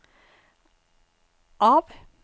av